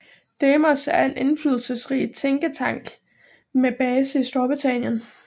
Demos er en indflydelsesrig tænketank med base i Storbritannien